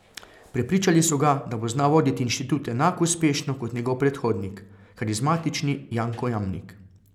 Prepričali so ga, da bo znal voditi inštitut enako uspešno kot njegov predhodnik, karizmatični Janko Jamnik.